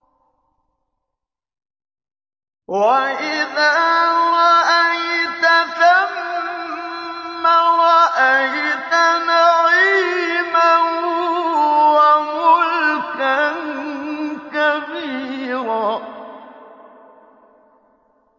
وَإِذَا رَأَيْتَ ثَمَّ رَأَيْتَ نَعِيمًا وَمُلْكًا كَبِيرًا